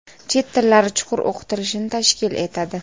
chet tillari chuqur o‘qitilishini tashkil etadi.